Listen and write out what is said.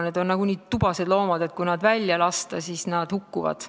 Need on nii tubased loomad, et kui nad välja lasta, siis nad hukkuvad.